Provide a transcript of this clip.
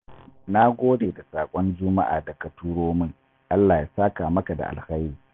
Na gode da saƙon Juma'a da ka turo min, Allah ya saka maka da alkhairi